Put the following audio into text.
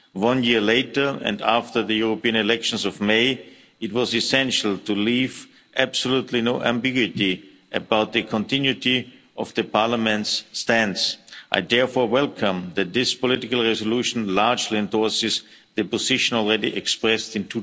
One year later, and after the European elections of May, it was essential to leave absolutely no ambiguity about the continuity of Parliament's stance. I therefore welcome that this political resolution largely endorses the position already expressed in